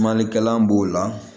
Maninkalan b'o la